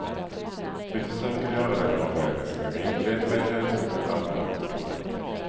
Vi försöker göra den avvägning som är rimlig med hänsyn till alla önskemål.